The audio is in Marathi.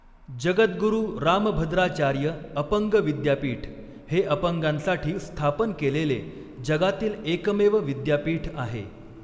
जगद्गुरू रामभद्राचार्य अपंग विद्यापीठ हे अपंगांसाठी स्थापन केलेले जगातील एकमेव विद्यापीठ आहे.